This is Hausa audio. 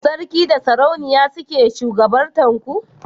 sarki da sarauniya suke shugabantar ku?